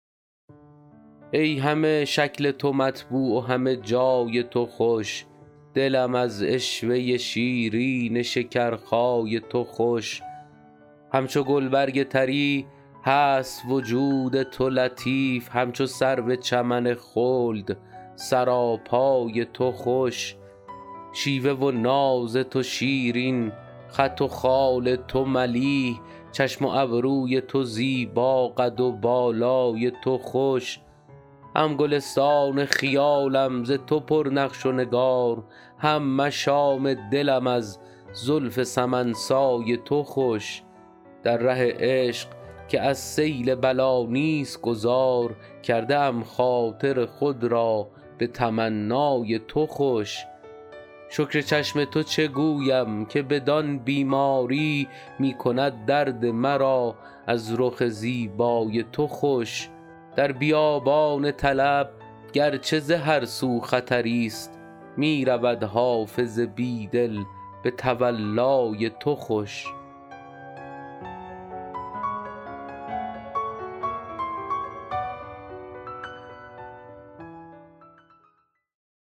ای همه شکل تو مطبوع و همه جای تو خوش دلم از عشوه شیرین شکرخای تو خوش همچو گلبرگ طری هست وجود تو لطیف همچو سرو چمن خلد سراپای تو خوش شیوه و ناز تو شیرین خط و خال تو ملیح چشم و ابروی تو زیبا قد و بالای تو خوش هم گلستان خیالم ز تو پر نقش و نگار هم مشام دلم از زلف سمن سای تو خوش در ره عشق که از سیل بلا نیست گذار کرده ام خاطر خود را به تمنای تو خوش شکر چشم تو چه گویم که بدان بیماری می کند درد مرا از رخ زیبای تو خوش در بیابان طلب گر چه ز هر سو خطری ست می رود حافظ بی دل به تولای تو خوش